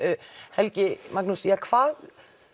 Helgi hvað